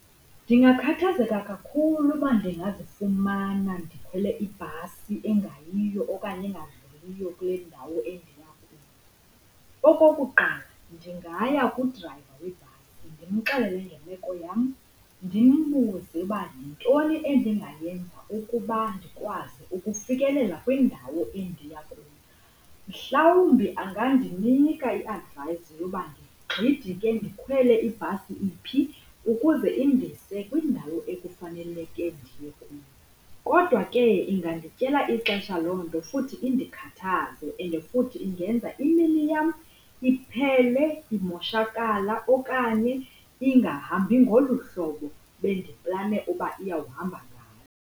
Ndingakhathazeka kakhulu uba ndingazifumana ndikhwele ibhasi engayiyo okanye engadluliyo kule ndawo endiya kuyo. Okokuqala, ndingaya kudrayiva webhasi ndimxelele ngemeko yam ndimbuze ukuba yintoni endingayenza ukuba ndikwazi ukufikelela kwindawo endiya kuyo. Mhlawumbi angandinika i-advice yoba ndigxidike ndikhwele ibhasi iphi ukuze indise kwindawo ekufaneleke ndiye kuyo. Kodwa ke, ingandityela ixesha loo nto futhi indikhathaze and futhi ingenza imini yam iphele imoshakala okanye ingahambi ngolu hlobo bendiplane uba iyawuhamba ngalo.